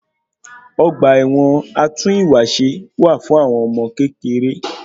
Ọgba ẹ̀wọn atún ìwà ṣe wá fún àwọn ọmọ kékeré.